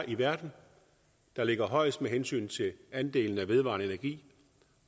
i verden der ligger højest med hensyn til andelen af vedvarende energi